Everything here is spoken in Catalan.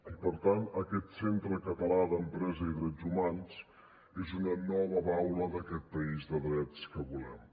i per tant aquest centre català d’empresa i drets humans és una nova baula d’aquest país de drets que volem